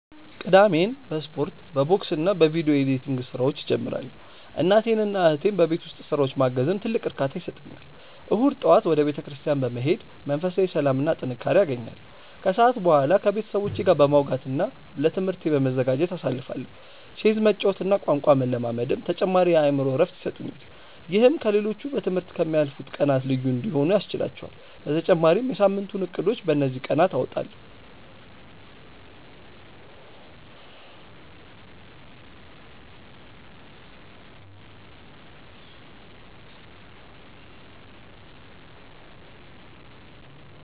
ቅዳሜን በስፖርት፣ በቦክስና በቪዲዮ ኤዲቲንግ ስራዎች እጀምራለሁ። እናቴንና እህቴን በቤት ውስጥ ስራዎች ማገዝም ትልቅ እርካታ ይሰጠኛል። እሁድ ጠዋት ወደ ቤተክርስቲያን በመሄድ መንፈሳዊ ሰላምና ጥንካሬ አገኛለሁ፤ ከሰዓት በኋላ ከቤተሰቦቼ ጋር በማውጋትና ለትምህርቴ በመዘጋጀት አሳልፋለሁ። ቼዝ መጫወትና ቋንቋ መለማመድም ተጨማሪ የአእምሮ እረፍት ይሰጡኛል። ይህም ከ ሌሎቹ በ ትምህርት ከ ምያልፉት ቀናት ልዩ እንዲሆኑ ያስችህላቹአል በተጨማሪም የ ሳምንቱን እቅዶችን በ እንዚህ ቀናት አወጣለሁ።